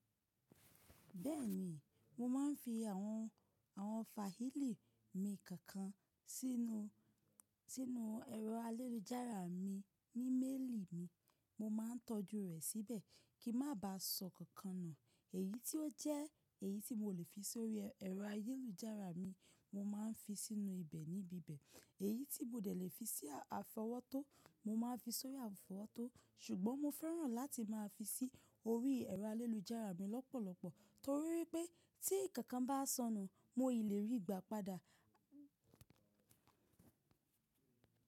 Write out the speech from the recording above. Bẹ́ẹ̀ni, mo máa ń fi àwọn, àwọn fáìlì mi kankan sínú, sínú ẹ̀rọ ayélujára mi ní mélìì mi. Mo máà ń tọ́jú rẹ̀ síbẹ̀ kí n má ba sọ kankan nù. Èyí tí ó jẹ́ èyí tí mo lè fi sórí ẹ̀rọ ayélujára mi, mo máà ń fi sínú ibẹ̀ níbi bi bẹ̀. Èyí tí mo dẹ̀ lé fi sí àfọwọ́tó, mo máa ń fi sórí àfọwọ́tó ṣùgbọ́n mo fẹ́ràn láti máa fi sí orí ẹ̀rọ ayélujára mi lọ́pọ̀lọpọ̀ torí wipé tí nkankan bá sọnù, mo è ríi gbá padà.